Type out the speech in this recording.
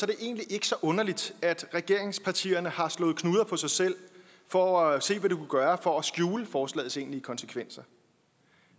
det egentlig ikke så underligt at regeringspartierne har slået knuder på sig selv for at se hvad de kunne gøre for at skjule forslagets egentlige konsekvenser